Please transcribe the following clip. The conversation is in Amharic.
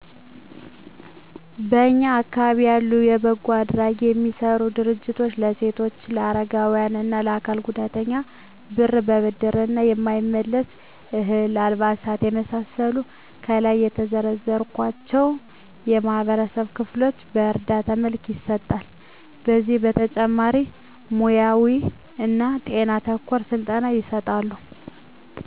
በእኛ አካባቢ ያሉ በጎ አድራጎት የሚሰሩ ድርጅቶች ለሴቶች ለአረጋዊያን እና ለአካል ጉዳተኞች ብር በብድር እና የማይመለስ፤ እህል፤ አልባሳት የመሳሰሉትን ከላይ ለዘረዘርኳቸው የማህበረሰብ ክፍሎች በእርዳታ መልክ ይሰጣሉ። ከዚህ በተጨማሪ ሙያውይ እና ጤና ተኮር ስልጠና ይሰጣሉ።